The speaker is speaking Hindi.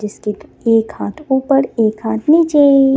जिसके एक हाथ ऊपर एक हाथ निचे.